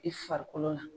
I farikolo la